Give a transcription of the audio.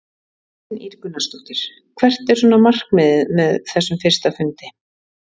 Kristín Ýr Gunnarsdóttir: Hvert er svona markmiðið með þessum fyrsta fundi?